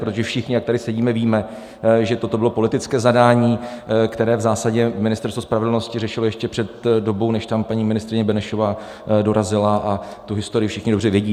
Protože všichni, jak tady sedíme, víme, že toto bylo politické zadání, které v zásadě Ministerstvo spravedlnosti řešilo ještě před dobou, než tam paní ministryně Benešová dorazila, a tu historii všichni dobře vědí.